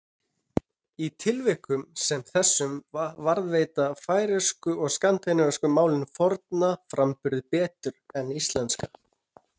Í tilvikum sem þessum varðveita færeyska og skandinavísku málin fornan framburð betur en íslenska.